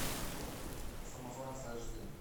самозванцы аш ди